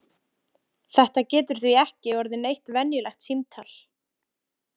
Þetta getur því ekki orðið neitt venjulegt símtal!